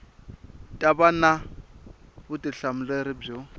ta va na vutihlamuleri byo